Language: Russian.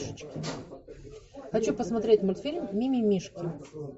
хочу посмотреть мультфильм мимимишки